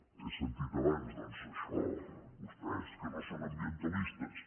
he sentit abans doncs això vostès que no són ambientalistes